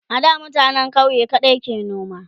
a da mutanen ƙauye kaɗai ke noma